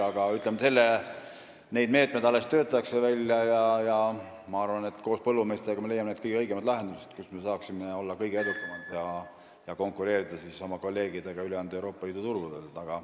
Aga mõningaid meetmeid alles töötatakse välja ja ma arvan, et koos põllumeestega me leiame kõige õigemad lahendused – need kohad, kus me saaksime olla kõige edukamad ja konkureerida oma kolleegidega ülejäänud Euroopa Liidu turgudel.